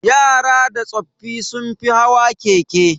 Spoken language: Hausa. Yara da tsoffi sun fi hawa keke.